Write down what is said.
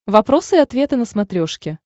вопросы и ответы на смотрешке